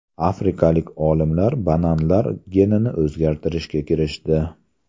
Afrikalik olimlar bananlar genini o‘zgartirishga kirishdi.